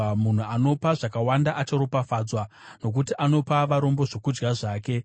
Munhu anopa zvakawanda acharopafadzwa, nokuti anopa varombo zvokudya zvake.